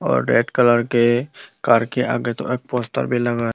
और red colour के car के आगे तो एक पोस्टर भीं लगा --